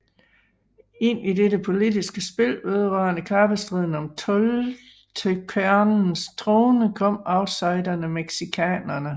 Ind i dette politiske spil vedrørende kappestriden om Toltekernes trone kom outsiderne Mexicaerne